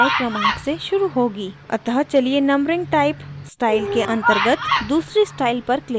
अतः चलिए numbering type style के अंतर्गत दूसरी स्टाइल पर click करते हैं